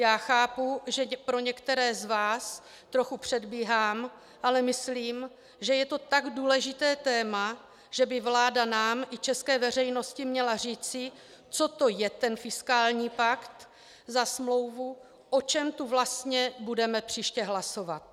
Já chápu, že pro některé z vás trochu předbíhám, ale myslím, že je to tak důležité téma, že by vláda nám i české veřejnosti měla říci, co to je ten fiskální pakt za smlouvu, o čem tu vlastně budeme příště hlasovat.